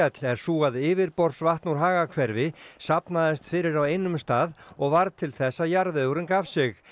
er sú að yfirborðsvatn úr safnaðist fyrir á einum stað og varð til þess að jarðvegurinn gaf sig